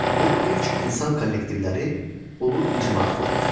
Bu ilk insan kollektivləri Ulu icma adlanır.